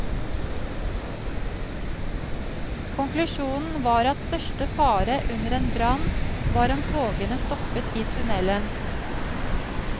Konklusjonen var at største fare under en brann var om togene stoppet i tunnelen.